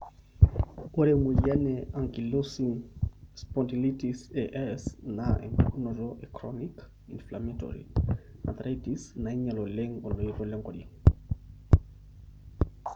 Ore emoyian e Ankylosing spondylitis (AS)na empukunoto e chronic, inflammatory arthritis nainyial oleng oloito lenkoriong.